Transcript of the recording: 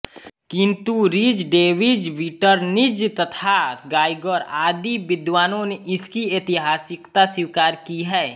किंतु Rhys Davids Winternitz तथा Geiger आदि विद्वानों ने इसकी ऐतिहासिकता स्वीकार की है